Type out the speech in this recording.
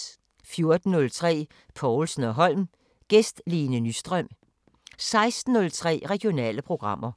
14:03: Povlsen & Holm: Gæst Lene Nyström 16:03: Regionale programmer